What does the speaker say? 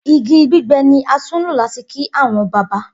Igi gbigbẹ ni a tun lo lati ki awọn baba